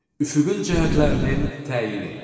Üfüqün cəhətlərinin təyini.